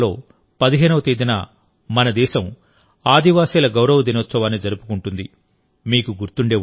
November నెలలో 15వ తేదీన మన దేశం ఆదివాసిల గౌరవ దినోత్సవాన్ని జరుపుకుంటుంది